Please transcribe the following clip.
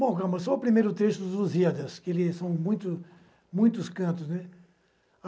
Bom, calma, só o primeiro trecho dos Lusíadas, que são muito muitos, cantos, né.